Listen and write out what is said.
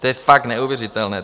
To je fakt neuvěřitelné.